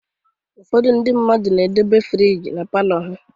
Ụfọdụ ndị mmadụ na-edobe friji na palọ ha